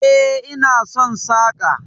E, ina son saƙa.